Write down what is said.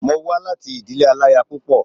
Mo wá láti ìdílé aláya púpọ̀